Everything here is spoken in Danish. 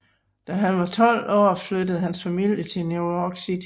Da han var 12 flyttede hans familie til New York City